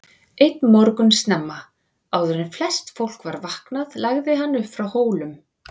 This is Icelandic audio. Einn morgun snemma, áður en flest fólk var vaknaði lagði hann upp frá Hólum.